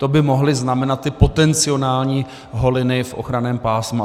To by mohly znamenat ty potenciální holiny v ochranném pásmu.